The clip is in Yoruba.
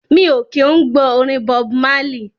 Mi o kí ń gbọ́ orin Bob Marley.